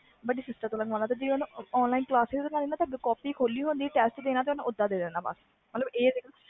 ਵੱਡੀ sister ਤੋਂ ਲਿਖਵਾਣਾ ਤੇ ਜੇ ਟੈਸਟ ਦੇਣਾ ਤੇ ਅੱਗੇ ਕਾਪੀ ਖੋਲੀ ਹੁੰਦੀ ਤੇ ਟੈਸਟ ਦੇ ਦੇਣਾ